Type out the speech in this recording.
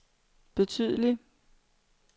betydelig